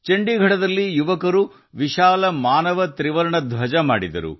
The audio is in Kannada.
ಚಂಡೀಗಢದಲ್ಲಿ ಯುವಕರು ಬೃಹತ್ ಮಾನವ ತ್ರಿವರ್ಣ ಧ್ವಜವನ್ನು ತಯಾರಿಸಿದ್ದಾರೆ